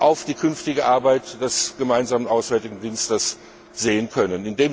auf die künftige Arbeit des gemeinsamen Auswärtigen Dienstes blicken können.